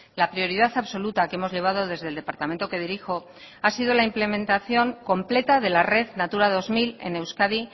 la prioridad absoluta que hemos llevado desde el departamento que dirijo ha sido la implementación completa de la red natura dos mil en euskadi